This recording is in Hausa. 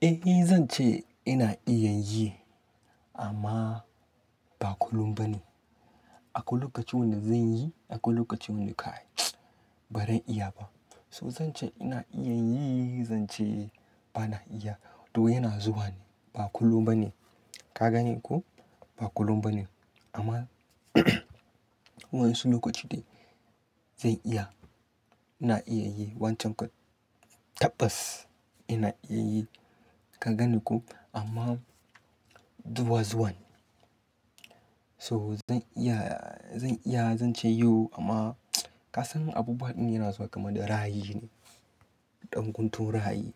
Eh zan ce ina iya yi amma ba kullum ba ne. Akwai lokacin wanda zan yi, akwai lokacin wanda kai ba zan iya ba. So zan ce ina iya yi, zan ce ba na iya. To yana zuwa ne ba kullum ba ne. Ka gane ko? Ba kullum ba ne amma wa'in su lokaci dai zan iya. Ina iya yi wancan kwat tabbas ina iya yi. Ka gane ko? Amma duwa zuwa ne. So zan iya, zan iya zan ce yau amma ka san abubuwa ɗin yana zuwa kaman da ra'ai ne. Ɗan guntun raye.